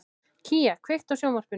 Kía, kveiktu á sjónvarpinu.